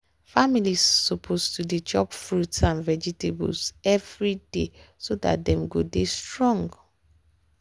families suppose to dey chop fruit and vegetables every day so dat dem go dey strong.